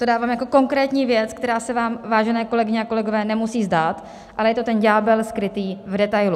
To dávám jako konkrétní věc, která se vám, vážené kolegyně a kolegové, nemusí zdát, ale je to ten ďábel skrytý v detailu.